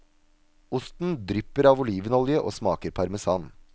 Osten drypper av olivenolje og smaker parmesan.